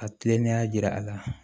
A tilenenya jira a la